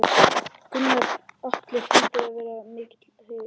Gunnar Atli: Hlýtur að vera mikill heiður?